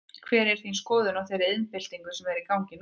Hver er þín skoðun á þeirri iðnbyltingu sem er í gangi núna?